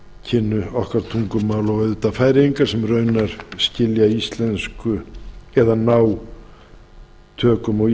kynnu okkar tungumál og auðvitað færeyingar sem raunar skilja íslensku eða ná tökum á